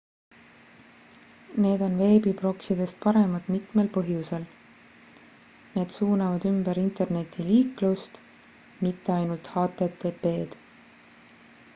need on veebiproksidest paremad mitmel põhjusel need suunavad ümber internetiliiklust mitte ainult http-d